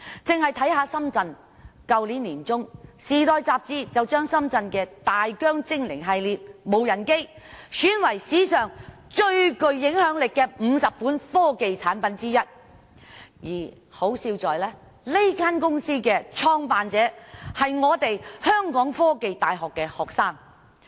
僅以深圳為例，去年年中，《時代周刊》將深圳的大疆精靈系列無人機選為史上最具影響力的50款科技產品之一，可笑的是，這間公司的創辦者是香港科技大學學生。